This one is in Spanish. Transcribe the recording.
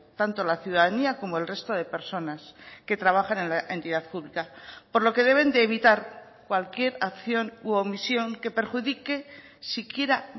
tanto la ciudadanía como el resto de personas que trabajan en la entidad pública por lo que deben de evitar cualquier acción u omisión que perjudique siquiera